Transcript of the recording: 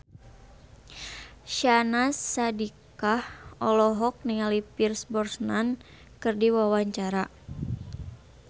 Syahnaz Sadiqah olohok ningali Pierce Brosnan keur diwawancara